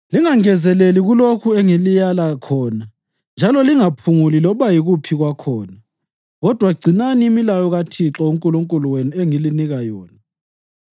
Lingangezeleli kulokho engililaya khona njalo lingaphunguli loba yikuphi kwakhona, kodwa gcinani imilayo kaThixo uNkulunkulu wenu engilinika yona.